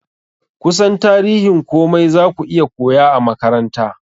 Kusan tarihin komai zaka iya koya a makaranta